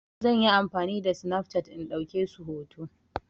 Zan yi amfani da Snapchat in ɗauke su hoto.